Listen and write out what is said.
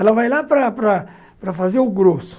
Ela vai lá para para para fazer o grosso.